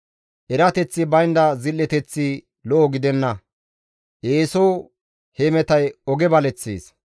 Erateththi baynda zil7eteththi lo7o gidenna; eeso hemetay oge baleththees.